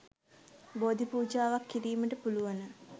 බෝධි පූජාවක් කිරීමට පුළුවන.